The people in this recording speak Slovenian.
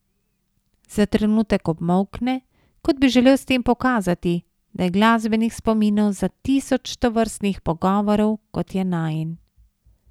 Za trenutek obmolkne, kot bi želel s tem pokazati, da je glasbenih spominov za tisoč tovrstnih pogovorov, kot je najin.